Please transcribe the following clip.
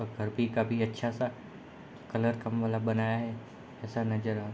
और घर भी काफी अच्छा सा कलर का मतलब बनाया है ऐसा नज़ारा --